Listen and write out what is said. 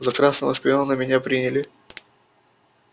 за красного шпиона меня приняли